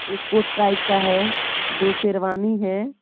एक coat type का है दो शेरवानी है।